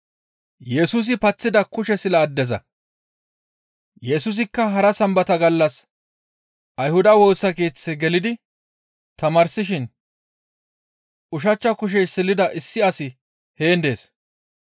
Yesusikka hara Sambata gallas Ayhuda Woosa Keeththe gelidi tamaarsishin ushachcha kushey silida issi asi heen dees.